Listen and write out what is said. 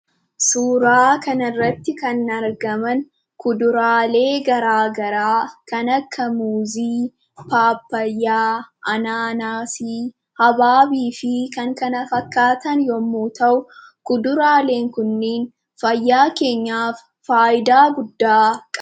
Suuraa kanarratti kan argaman kuduraalee garaagaraa kan akka Muuzii, Paappayyaa, Anaanaasii, Habaabii fi kan kana fakkaataan yommuu ta'u, kuduraaleen kunniin fayyaa keenyaaf faayidaa guddaa qabu.